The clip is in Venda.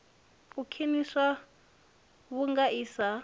u khwiniswa vhunga i sa